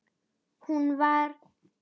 Hún var